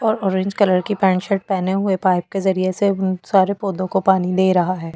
और orange colour के pant shirt पहने हुए पाइप के जरिए से सारे पौधों को पानी दे रहा है।